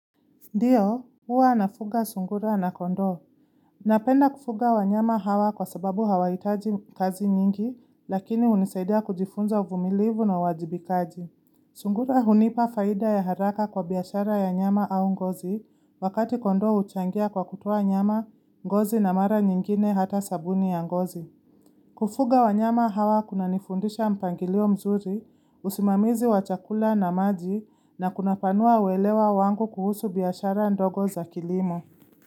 Ndiyo, huwa nafuga sungura na kondoo. Napenda kufuga wanyama hawa kwa sababu hawahitaji kazi nyingi, lakini hunisaidia kujifunza uvumilivu na uwajibikaji. Sungura hunipa faida ya haraka kwa biashara ya nyama au ngozi, wakati kondoo huchangia kwa kutoa nyama, ngozi na mara nyingine hata sabuni ya ngozi. Kufuga wanyama hawa kuna nifundisha mpangilio mzuri, usimamizi wa chakula na maji na kunapanua uelewa wangu kuhusu biashara ndogo za kilimo.